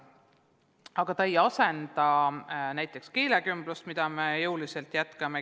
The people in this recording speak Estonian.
Aga see ei asenda näiteks keelekümblust, mida me jõuliselt jätkame.